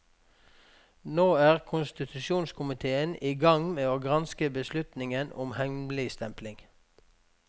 Nå er konstitusjonskomitéen i gang med å granske beslutningen om hemmeligstempling.